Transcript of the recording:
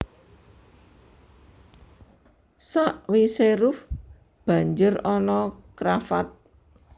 Sawisé ruff banjur ana cravat